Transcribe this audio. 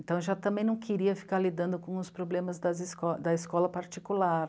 Então, eu já também não queria ficar lidando com os problemas das esco, da escola particular.